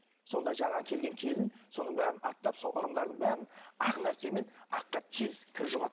сонда жаңа келген келін соның бәрін аттап сол ырымдардың бәрін ақ нәрсемен аққа тез кір жұғады